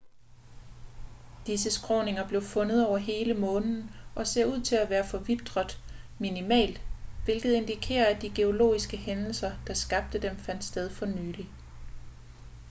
disse skråninger blev fundet over hele månen og ser ud til at være forvitret minimalt hvilket indikerer at de geologiske hændelser der skabte dem fandt sted for nylig